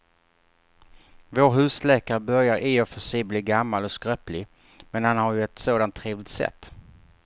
Vår husläkare börjar i och för sig bli gammal och skröplig, men han har ju ett sådant trevligt sätt!